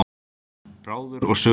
Bráður er sögusmiður.